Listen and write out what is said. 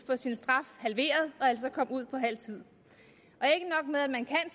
få sin straf halveret og altså komme ud på halv tid